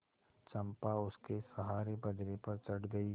चंपा उसके सहारे बजरे पर चढ़ गई